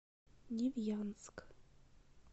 невьянск